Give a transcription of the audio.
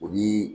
O ni